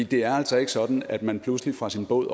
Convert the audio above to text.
det er altså ikke sådan at man pludselig fra sin båd